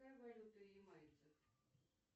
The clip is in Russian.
какая валюта ямайцев